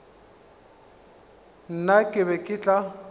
nna ke be ke tla